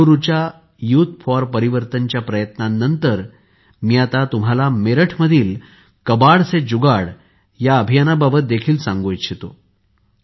बंगळुरूच्या youth for परिवर्तनाच्या प्रयत्नांनंतर मी आता तुम्हाला मेरठ मधील कबाड से जुगाड या अभियानाबाबत देखील सांगू इच्छितो